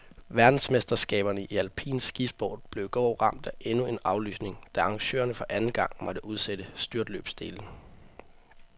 Verdensmesterskaberne i alpin skisport blev i går ramt af endnu en aflysning, da arrangørerne for anden gang måtte udsætte styrtløbsdelen.